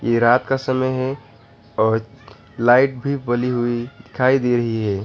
ये रात का समय है और लाइट भी बली हुई दिखाई दे रही है।